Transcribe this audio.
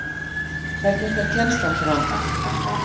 Hvernig fer kennslan fram?